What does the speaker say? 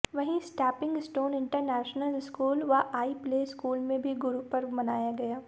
वहीं stamping stone international school व आई प्ले स्कूल में भी गुरु पर्व मनाया गया